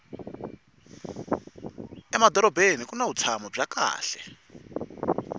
emadorobeni kuni vutshamo bya kahle